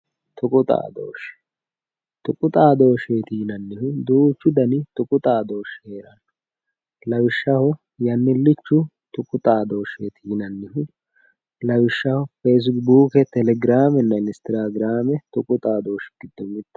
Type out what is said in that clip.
tuqu xaadooshshe tuqu xaadooshsheeti yinannihu duuchu dani tuqu xaadooshshi heeranno lawishshaho yannillichu tuqu xaadooshsheeti yinannihu lawishshaho feesibuuke telegiraamenna instagiraame tuqu xaadooshshi giddo mittoho